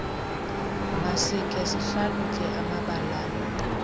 masikhe sihlalutye amabaalana